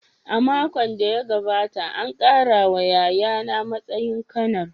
A makon da ya gabata, an ƙara wa yayana matsayin Kanar.